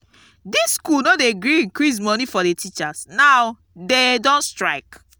dis school no dey gree increase money for the teachers now dey don strike